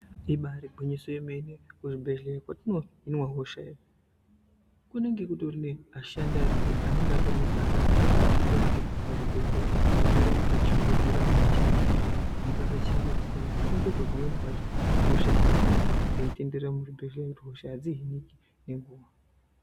Ibairi ngwinyiso yemene kuzvibhedhleya kwatino hinwa hosha iyo kunenge kutorine ashandi ariyo anenge atori nebasa rekuita kuti muzvibhedhleya mugare maka shongedzeka makachena zvekuti mukasa chengetedzwa nekushongedzwa pamweni pacho hosha dzinoramba dzeitenderera muzvibhedhlera nekuti hosha adzi hiniki ngenguwa.